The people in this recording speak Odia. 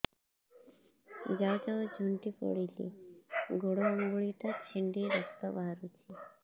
ଯାଉ ଯାଉ ଝୁଣ୍ଟି ପଡ଼ିଲି ଗୋଡ଼ ଆଂଗୁଳିଟା ଛିଣ୍ଡି ରକ୍ତ ବାହାରୁଚି